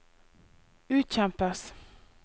utkjempes